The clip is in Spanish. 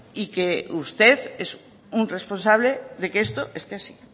y que usted es un responsable de que esto esté así